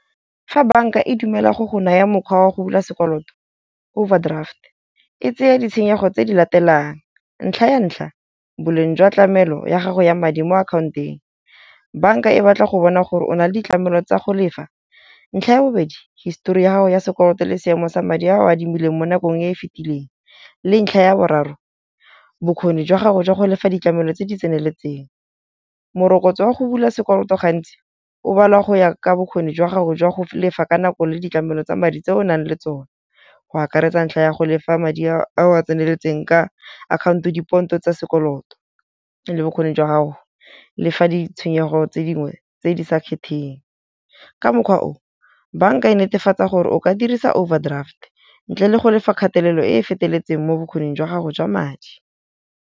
fa banka e dumela go go naya mokgwa wa go bula sekoloto overdraft e tsaya ditshenyego tse di latelang, ntlha ya ntlha, boleng jwa tlamelo ya gago ya madi mo akhaonteng. Banka e batla go bona gore o na le ditlamelo tsa go lefa. Ntlha ya bobedi, histori ya gago ya sekoloto le seemo sa madi a o a adimileng mo nakong e e fitileng. Le ntlha ya boraro, bokgoni jwa gago jwa go lefa ditlamelo tse di tseneletseng. Morokotso wa go bula sekoloto gantsi o balwa go ya ka bokgoni jwa gago jwa go lefa ka nako le ditlamelo tsa madi tse o nang le tsone. Go akaretsa ntlha ya go lefa madi a tseneletseng ka akhaonto, dipontsho tsa sekoloto le bokgoni jwa gago le fa ditshwenyego tse dingwe tse di sa khething. Ka mokgwa o banka e netefatsa gore o ka dirisa overdraft ntle le go lefa kgatelelo e feteletseng mo bokgoning jwa gago jwa madi.